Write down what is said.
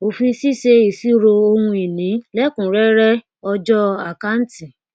òfin ṣíṣe ìṣirò ohun ìní lẹkùnúnrẹrẹ ọjọ àkáǹtì